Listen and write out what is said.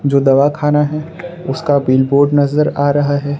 जो दवा खाना है उसका बिल बोर्ड नजर आ रहा है।